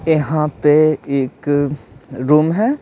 यहाँ पे एक रूम है।